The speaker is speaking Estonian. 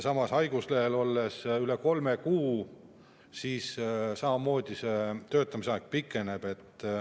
Samas, kui olla haiguslehel üle kolme kuu, siis see töötamise aeg samamoodi pikeneb.